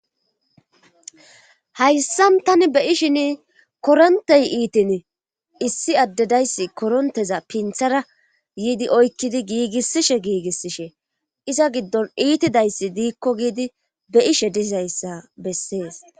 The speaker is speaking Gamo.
Hayssan tani be ishin korontey iitin issi addedayssi koronteza pinthara yiidi oykkidi giigissishe giigissishe iza giddon iitidayssi diikko giidi be ishe dizayssa bessees.